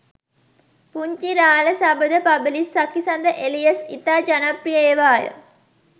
පුංචි රාළ සබඳ පබිලිස් සකිසඳ එලියස් ඉතා ජනප්‍රිය ඒවාය.